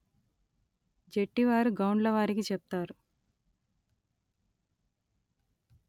జెట్టివారు గౌండ్లవారికి చెప్తారు